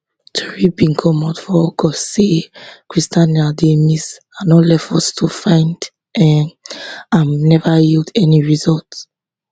tori bin comot for august say christianah dey miss and all efforts to find um am neva yield any results